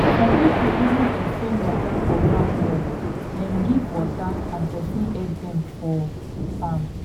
some people even exchange water for farm work dem give water and person help dem for farm